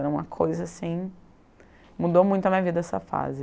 Era uma coisa assim... Mudou muito a minha vida essa fase.